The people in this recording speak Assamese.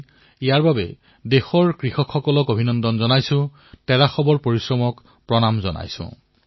মই ইয়াৰ বাবে কৃষকসকলক অভিনন্দন জনাইছো তেওঁলোকৰ পৰিশ্ৰমক নমস্কাৰ জনাইছো